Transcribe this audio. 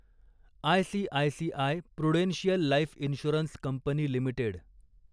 ICICI prudential life insurance company limited